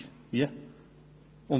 – Wie bitte?